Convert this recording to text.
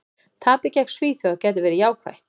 Tapið gegn Svíþjóð gæti verið jákvætt.